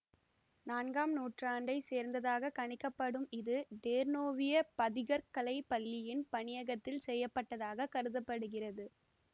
நான்காம் நூற்றாண்டை சேர்ந்ததாகக் கணிக்கப்படும் இது டேர்னோவிய பதிகற் கலை பள்ளியின் பணியகத்தில் செய்ய பட்டதாக கருத படுகிறது